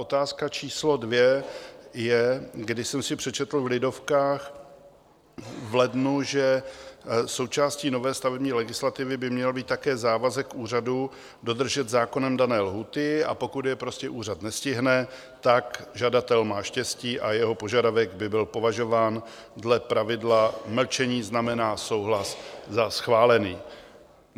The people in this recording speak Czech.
Otázka číslo dvě je: když jsem si přečetl v Lidovkách v lednu, že součástí nové stavební legislativy by měl být také závazek úřadu dodržet zákonem dané lhůty, a pokud je prostě úřad nestihne, tak žadatel má štěstí a jeho požadavek by byl považován dle pravidla mlčení znamená souhlas za schválený.